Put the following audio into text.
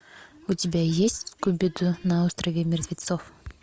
у тебя есть скуби ду на острове мертвецов